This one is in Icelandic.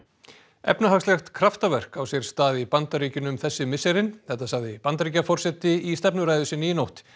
efnahagslegt kraftaverk á sér stað í Bandaríkjunum þessi misserin þetta sagði Bandaríkjaforseti í stefnuræðu sinni í nótt